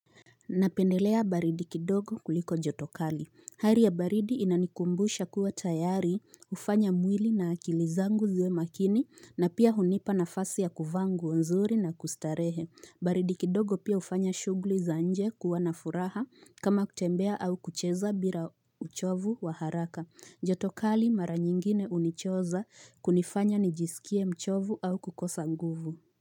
Napendelea baridi kidogo kuliko jotokali. Hali ya baridi inanikumbusha kuwa tayari kufanya mwili na akilizangu ziwe makini na pia hunipa na fasi ya kuvaa nguo nzuri na kustarehe. Baridi kidogo pia hufanya shughuli za nje kuwanafuraha kama kutembea au kucheza bila uchovu wa haraka. Jotokali mara nyingine hunichoza kunifanya nijisikie mchovu au kukosa nguvu.